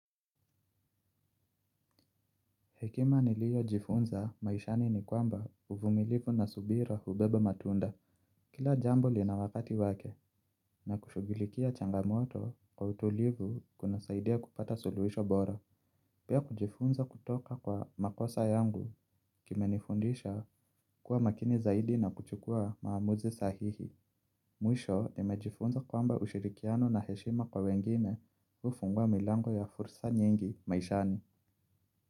Hekima niliyojifunza maishani ni kwamba uvumilivu na subira hubeba matunda. Kila jambo lina wakati wake na kushugilikia changamoto kwa utulivu kunasaidia kupata suluisho bora. Pia kujifunza kutoka kwa makosa yangu kimenifundisha kuwa makini zaidi na kuchukua maamuzi sahihi. Mwisho nimejifunza kwamba ushirikiano na heshima kwa wengine ufungua milango ya fursa nyingi maishani.